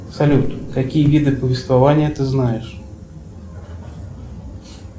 салют какие виды повествования ты знаешь